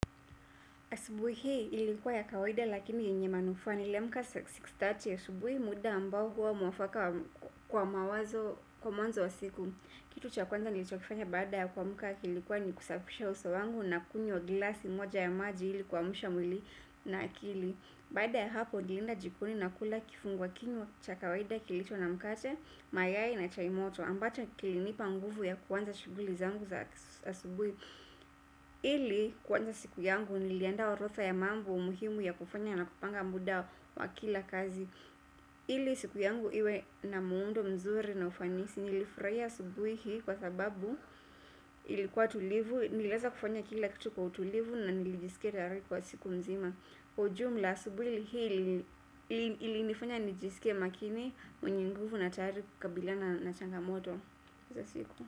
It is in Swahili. Asubuhi hii ilikuwa ya kawaida lakini yenye manufaa, niliamka sita; thelathini asubuhi, muda ambao huwa mwafaka kwa mawazo, kwa mwanzo wa siku. Kitu cha kwanza nilichokifanya baada ya kuamka kilikuwa ni kusafisha uso wangu na kunywa glasi moja ya maji ili kuamsha mwili na akili. Baada ya hapo nilienda jikoni na kula kifungua kinywa cha kawaida kilicho na mkate, mayai na chai moto, ambacho kilinipa nguvu ya kuanza shughuli zangu za asubuhi ili kuanza siku yangu niliandaa orodha ya mambo muhimu ya kufanya na kupanga muda wa kila kazi ili siku yangu iwe na muundo mzuri na ufanisi. Nilifurahia asubuhi hii kwa sababu ilikuwa tulivu, niliweza kufanya kila kitu kwa utulivu na nilijiskia tayari kwa siku mzima ujumla asubuhi hii ilinifanya nijisikie makini mwenye nguvu na tayari kukabiliana na changamoto za siku.